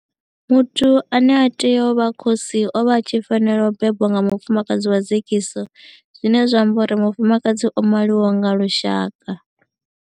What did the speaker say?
Muthu ane a tea u vha khosi o vha a tshi fanela u bebwa nga mufumakadzi wa dzekiso zwine zwa amba uri mufumakadzi o maliwaho nga lushaka.